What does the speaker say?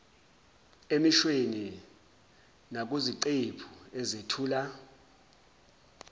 emishweni nakuziqephu ezethula